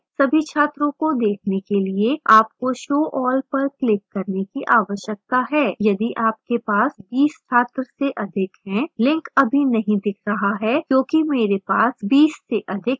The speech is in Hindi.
सभी छात्रों को देखने के लिए आपको show all पर click करने की आवश्यकता है यदि आपके पास 20 छात्र से अधिक हैं लिंक अभी नहीं दिख रहा है क्योंकि मेरे पास 20 से अधिक छात्र नहीं हैं